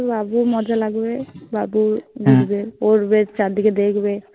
বাবুর মজা লাগবে বাবু দেখবে ঘুরবে চারদিকে দেখবে।